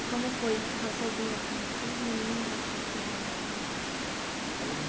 E como foi ficar sozinha com cinco meninas para criar e tudo? Olha